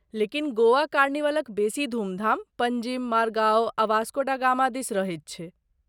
लेकिन गोवा कार्निवलक बेसी धूमधाम पंजिम, मार्गाओ आ वास्को डा गामा दिस रहैत छै।